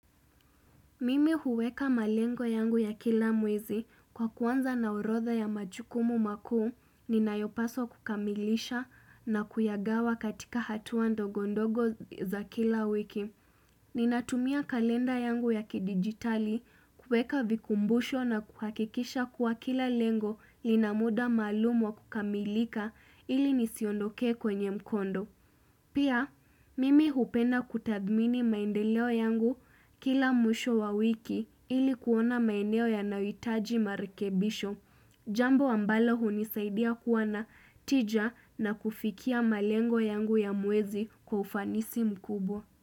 Mimi huweka malengo yangu ya kila mwezi kwa kuanza na orodha ya majukumu makuu, ninayopaswa kukamilisha na kuyagawa katika hatuwa ndogondogo za kila wiki. Ninatumia kalenda yangu ya kidigitali, kuweka vikumbusho na kuhakikisha kuwa kila lengo lina muda maalum wa kukamilika ili nisiondokee kwenye mkondo. Pia, mimi hupenda kutadmini maendeleo yangu kila mwisho wa wiki ili kuona maendeleo yanahitaji marikebisho. Jambo ambalo hunisaidia kuwa na tija na kufikia malengo yangu ya mwezi kwa ufanisi mkubwa.